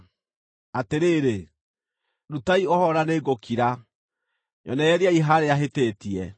“Atĩrĩrĩ, ndutaai ũhoro na nĩngũkira; nyonereriai harĩa hĩtĩtie.